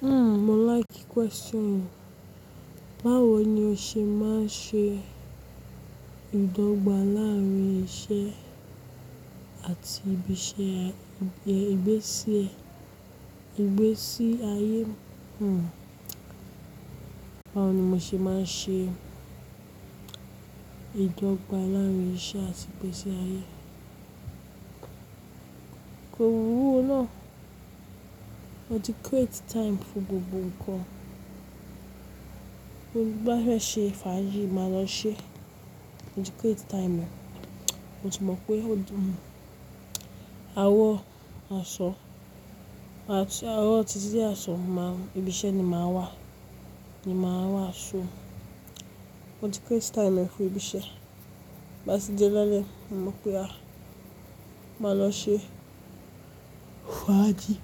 Hmm, mo like question. Báwo ni o ṣe máa ń ṣe ìdọ́gba láàárín iṣẹ́ àti ìgbésí ayé? Hmm. Báwo ni mo ṣe máa ń ṣe ìdọ́gba láàárín iṣẹ́ àti ìgbésí ayé? Kò wúlò ná. Mo ti create time fún gbogbo ǹkan. Bí mo bá fẹ́ ṣe fájìì, màá lọ ṣe. Mo ti create time. Mo ti mọ̀ pé àrọ̀ aṣọ, àrọ̀ titi de ọsan, ibi ise ni màá wà, ni màá wà ṣúù. Mo ti create time fún ìgbésẹ̀. Bí a bá ti dé lálẹ́, mo mọ̀ pé màá lọ ṣe fájìì.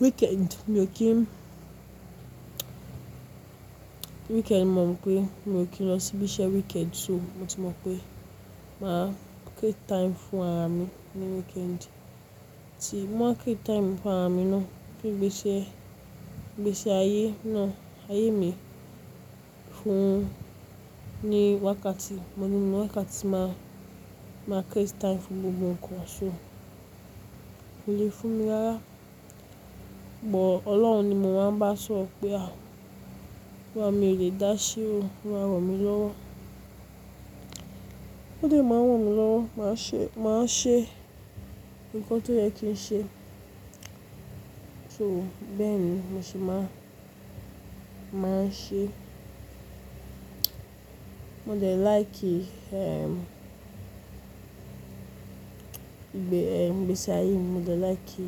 Weekend, mio kí ń Weekend, mo mọ̀ pé mo kí ń lọ sí ibi iṣẹ́ weekend. So, mo ti mọ̀ pé màá create time fún ara mi ní weekend. Tí mo ma create time fún ara mi ná, pé ìgbésẹ̀ ayé ná, ayé mi fún ní wákàtí, mo mọ̀ pé wákàtí máa create time fún gbogbo ǹkan aṣọ. Kò lè fún mi rára. Ọlọ́run ni mo máa ń bá sọro pé, "À, mi ò lè dáṣẹ́ o, máa ran mí lọ́wọ́." Ó lè máa ran mí lọ́wọ́, màá ṣe ǹkan tó yẹ kí ń ṣe. So, bẹ́ẹ̀ ni mo ṣe máa ń ṣe. Mo dè like, ehm, ìgbési ayé mi, mo lè like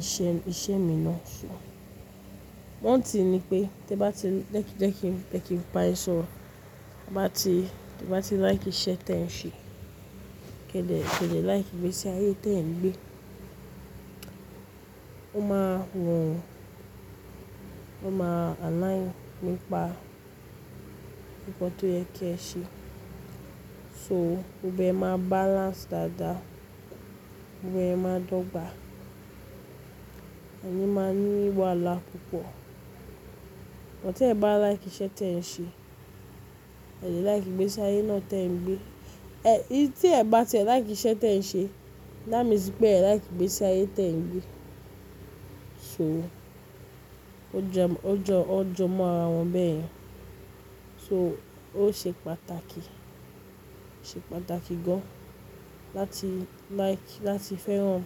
iṣẹ́ mi ná. So, one thing ní pé te bá ti jẹ́kin bayin soro, te bá ti like iṣẹ́ tí ẹ̀ ń ṣe, kí ẹ dè like ìgbésẹ̀ ayé tí ẹ̀ ń gbé. Ó máa wù ọ́, ó máa align nípa ǹkan tó yẹ kí ẹ ṣe. So, ó gbọdọ̀ máa balance dáadáa, ó gbọdọ̀ máa dọ́gba. Koni máa ní wàhála púpọ̀. But tí ẹ̀ bá like iṣẹ́ tí ẹ̀ ń ṣe, ẹ̀ lẹ like ìgbésẹ̀ ayé náà tí ẹ̀ ń gbé. Ẹ, tí ẹ̀ bá ti like iṣẹ́ tí ẹ̀ ń ṣe, that means pé ẹ̀ like ìgbésẹ̀ ayé tí ẹ̀ ń gbé. So, ó jọ mọ́ ara wọn bẹ́ẹ̀. So, ó ṣe pàtàkì, ṣe pàtàkì gan láti like, láti fẹ́ràn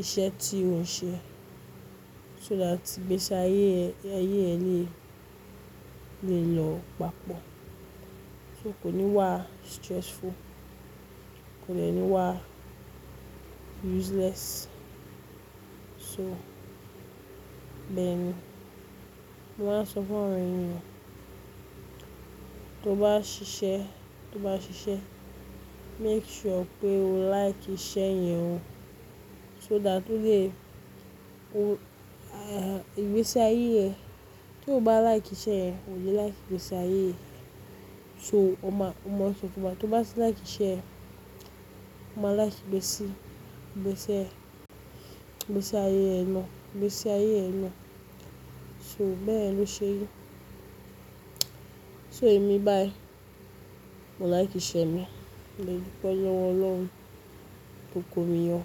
iṣẹ́ tí òun ṣe so that ìgbésẹ̀ ayé ẹ ní lè yọ pàpọ̀. So, kò ní wá stressful, kò de ní wá useless. So, bẹ́ẹ̀ ni. Mo máa ń sọ fún àwọn ènìyàn, tó bá ṣiṣẹ́, make sure pé o like iṣẹ́ yẹn o so that o lè, ìgbésẹ̀ ayé ẹ Tó bá like iṣẹ́ yẹn, o lẹ like ìgbésẹ̀ ayé yẹn. So, o mọ̀ ọ́n so. Tó bá ti like iṣẹ́ ẹ, o máa like ìgbésẹ̀ ayé ẹ ná. So, bẹ́yẹ̀n l'ó ṣe rí. So, èmi báyìí, mo like iṣẹ́ mi. Mo dupẹ́ l'owo Ọlọ́run, to komi yọ̀.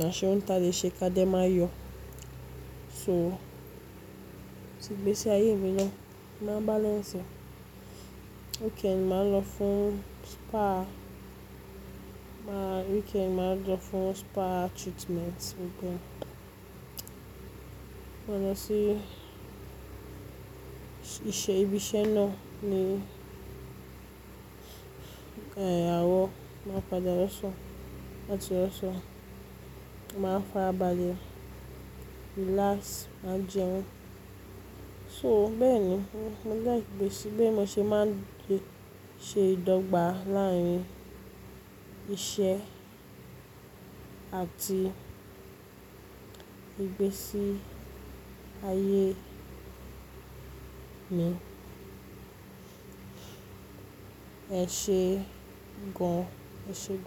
Káṣẹ́ òuǹ tà lé ṣe ká dé máa yọ̀. So, tí ìgbésẹ̀ ayé mi naa, mo máa balance. Weekend ma lọ fún spa, ma weekend ma lọ fún spa treatment gbogbo. Mo máa lọ sí ibi iṣẹ́ ná ní, àrọ̀, máa padà lọ́ṣan, láti ọ́ṣan. Mo máa farabalẹ́, relax, màá jẹun. So, bẹ́ẹ̀ ni. Mo like ìgbésẹ̀, bí mo ṣe máa ń ṣe ìdọ́gba láàárín iṣẹ́ àti ìgbésí ayé mi. Ẹ ṣe gan. Ẹ ṣe gan.